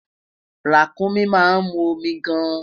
Ràkúnmí ma mu omi gaan